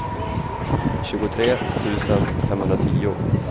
tjugotre tusen femhundratio